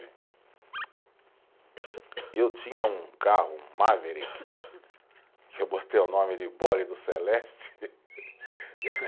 Eu tinha um carro Maverick, que eu botei o nome de do Celeste.